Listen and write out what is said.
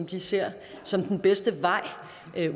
de ser som den bedste vej